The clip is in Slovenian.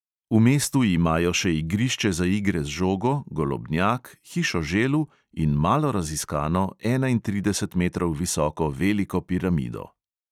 V mestu imajo še igrišče za igre z žogo, golobnjak, hišo želv in malo raziskano, enaintrideset metrov visoko veliko piramido.